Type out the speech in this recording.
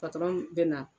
bɛ na